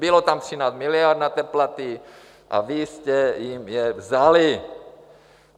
Bylo tam 13 miliard na ty platy a vy jste jim je vzali.